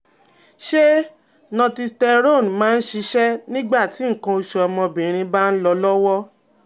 Ṣé Northisterone máa ń ṣiṣẹ́ nígbà tí nǹkan osu ọmọbìnrin bá ń lọ lọ́wọ́?